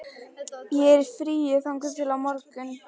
Ég er í fríi þangað til á morgun.